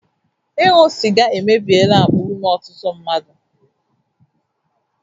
Ịṅụ sịga emebiela akpa ume ọtụtụ mmadụ